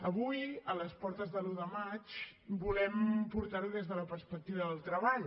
avui a les portes de l’u de maig volem portar ho des de la perspectiva del treball